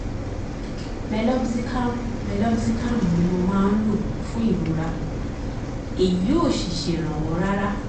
meloxicam meloxicam ni mo máa ń lò fún ìrora èyí ò sì ṣèrànwọ́ rárá